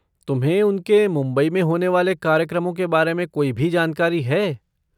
तुम्हें उनसके मुंबई में होने वाले कार्यक्रमों के बारे में कोई भी जानकारी है?